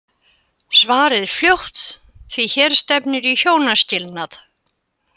Svarið fljótt því hér stefnir í hjónaskilnað!